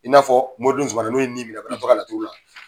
I n'a fɔ, moriden Sumano n'o ye min minɛ banatɔ ka laturu la.